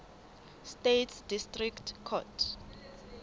states district court